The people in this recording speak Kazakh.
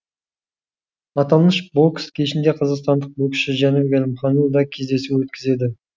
аталмыш бокс кешінде қазақстандық боксшы жәнібек әлімханұлы да кездесу өткізеді